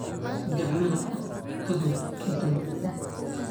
Gacmaha dhaq ka hor intaadan cunin.